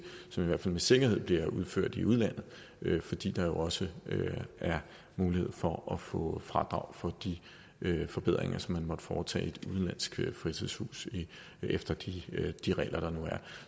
som i hvert fald med sikkerhed bliver udført i udlandet fordi der jo også er mulighed for at få fradrag for de forbedringer som man måtte foretage i et udenlandsk fritidshus efter de de regler der nu er